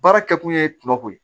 Baara kɛ kun ye kuma ko ye